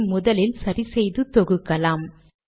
இதை முதலில் சரி செய்து தொகுக்கலாம்